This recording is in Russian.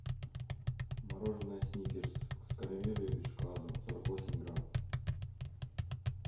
мороженое сникерс с карамелью и шоколадом сорок восемь грамм